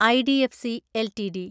IDFC LTD